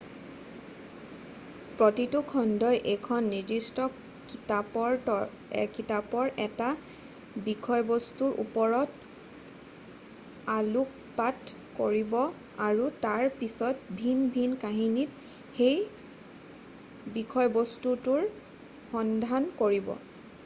প্ৰতিটো খণ্ডই এখন নিৰ্দিষ্ট কিতাপৰ এটা বিষয়বস্তুৰ ওপৰত আলোকপাত কৰিব আৰু তাৰপাছত ভিন ভিন কাহিনীত সেই বিষয়বস্তুটোৰ সন্ধান কৰিব